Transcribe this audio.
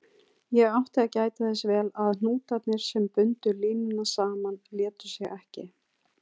Ég átti að gæta þess vel að hnútarnir, sem bundu línuna saman, létu sig ekki.